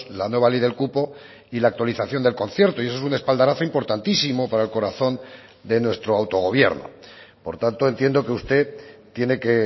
la nueva ley del cupo y la actualización del concierto y eso es un espaldarazo importantísimo para el corazón de nuestro autogobierno por tanto entiendo que usted tiene que